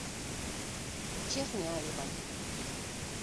черняевой